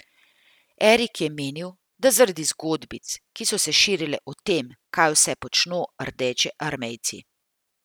Erik je menil, da zaradi zgodbic, ki so se širile o tem, kaj vse počno rdečearmejci.